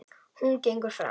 Hún gengur fremst.